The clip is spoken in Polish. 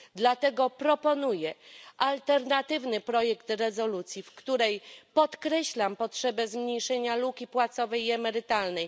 Dlatego proponuję alternatywny projekt rezolucji, w której podkreślam potrzebę zmniejszenia luki płacowej i emerytalnej.